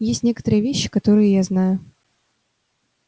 есть некоторые вещи которые я знаю